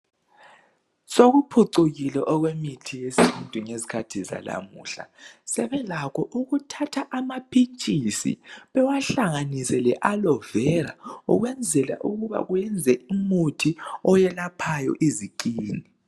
Sokuphucukile okwemithi yesintu ngezikhathi zanamuhla. Sebelakho ukuthatha amaphitshisi bewahlanginise le alovela, ukwenzela ukuthi bakuyenze umuthi okwelaphayo izikhini.